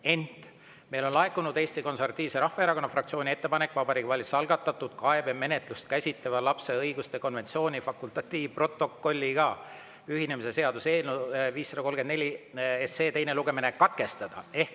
Ent meile on laekunud Eesti Konservatiivse Rahvaerakonna fraktsiooni ettepanek Vabariigi Valitsuse algatatud kaebemenetlust käsitleva lapse õiguste konventsiooni fakultatiivprotokolliga ühinemise seaduse eelnõu 534 teine lugemine katkestada.